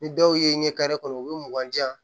Ni dɔw ye ɲɛ kɔnɔ u be mugan di yan